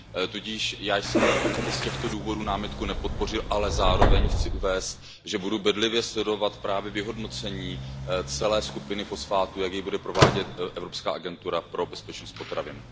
Tudíž já jsem i z těchto důvodů námitku nepodpořil, ale zároveň chci uvést, že budu bedlivě sledovat právě vyhodnocení celé skupiny fosfátů, jak je bude provádět Evropský úřad pro bezpečnost potravin.